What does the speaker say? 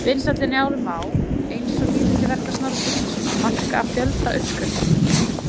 Vinsældir Njálu má, eins og lýðhylli verka Snorra Sturlusonar, marka af fjölda uppskriftanna.